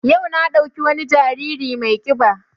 Yau na ɗauki wani jariri mai ƙiba